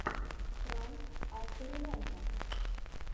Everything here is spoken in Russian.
пранк авто ремонта